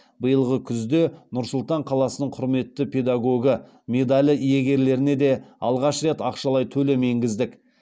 биылғы күзде нұр сұлтан қаласының құрметті педагогі медалі иегерлеріне де алғаш рет ақшалай төлем енгіздік